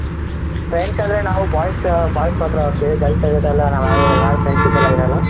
Friends ಅಂದ್ರೆ ನಾವ್ boys boys ಮಾತ್ರ ಹೋಗ್ತೀವಿ girls ಎಲ್ಲ ಇರಲ್ಲ ನಾವ್ಯಾರು friendship ಎಲ್ಲ ಇರಲ್ಲ